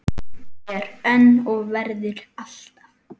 Er enn og verður alltaf.